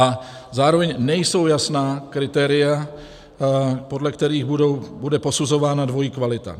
A zároveň nejsou jasná kritéria, podle kterých bude posuzována dvojí kvalita.